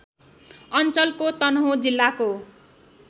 अञ्चलको तनहुँ जिल्लाको